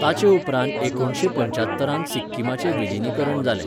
ताचे उपरांत एकुणशे पच्यात्तरांत सिक्किमाचे विलीनीकरण जालें.